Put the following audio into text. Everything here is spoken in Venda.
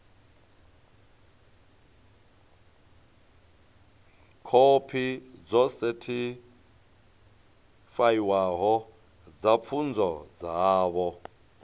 khophi dzo sethifaiwaho dza pfunzo dzavho